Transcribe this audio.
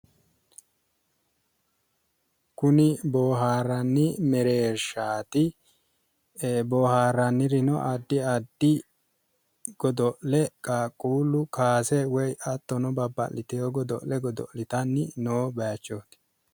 Kuni boohaarranni mereershaati. boohaarrannirino addi addi godo'le qaaqquullu kaase woyi hattono babbaxitewo godo'le godo'litanni noo baayichooti.